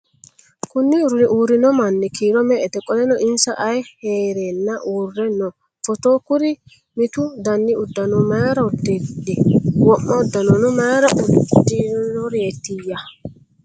Konni uurrino manni kiiro me"ete? Qoleno insa ayi haaranna uurre no FOTO? Kuri mittu dani uddanono mayiira udidhi? Wo'ma uddannono mayiira udidhureetiyya?